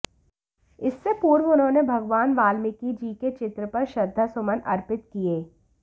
इससे पूर्व उन्होंने भगवान वाल्मीकि जी के चित्र पर श्रद्धासुमन अर्पित किए